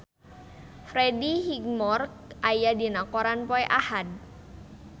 Freddie Highmore aya dina koran poe Ahad